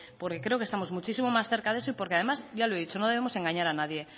porque creo que estamos muchísimo más cerca de eso y porque además ya lo he dicho no debemos engañar a nadie